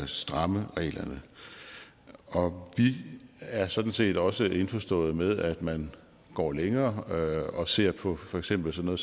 stramme reglerne vi er sådan set også indforstået med at man går længere og ser på for eksempel sådan